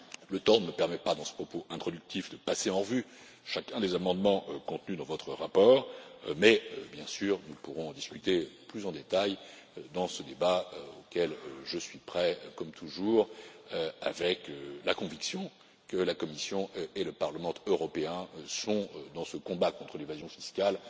Le temps ne me permet pas, dans ce propos introductif, de passer en revue chacun des amendements contenus dans votre rapport, mais, bien sûr, nous pourrons en discuter plus en détail dans ce débat, auquel je suis prêt comme toujours, avec la conviction que la Commission et le Parlement européen sont, dans ce combat contre l'évasion fiscale,